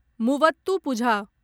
Muvattupuzha